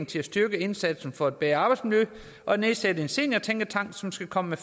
til at styrke indsatsen for et bedre arbejdsmiljø og nedsætte en seniortænketank som skal komme med